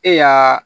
E y'aa